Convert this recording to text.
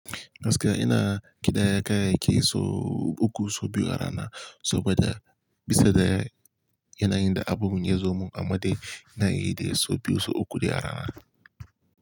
Gaskiya ina kiɗa yaƙaya ke so uku, so biyu a rana, so ba da, bisa da yana yin da abun ya zomo amma dai yana yi dai so biyu, so uku dai a rana.